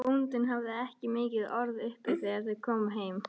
Bóndinn hafði ekki mikil orð uppi þegar þau komu heim.